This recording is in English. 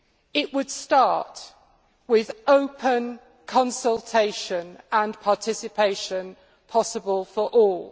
It would start with open consultation and participation possible for all.